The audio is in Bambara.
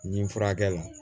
N ye furakɛ la